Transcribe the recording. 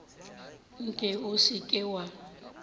nke o se ke wa